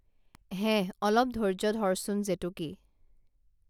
হেহ অলপ ধৈৰ্য্য ধৰচোন জেতুকী